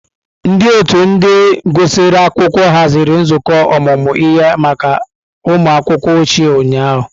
Ndị otu ndị gụsịrị akwụkwọ haziri nzukọ ọmụmụ ihe maka ụmụ akwụkwọ ochie ụnyahụ.